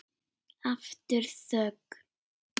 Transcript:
Aftur þögn.